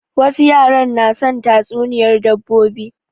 Wasu yaran na son tatsuniyar dabbobi